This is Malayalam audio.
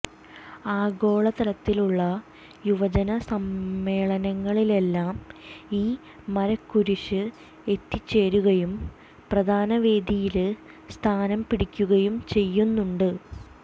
ആഗോള തലത്തിലുള്ള യുവജന സമ്മേളനങ്ങളിലെല്ലാം ഈ മരക്കുരിശ്ശ് എത്തിച്ചേരുകയും പ്രധാന വേദിയില് സ്ഥാനംപിടിക്കുകയും ചെയ്യുന്നുണ്ട്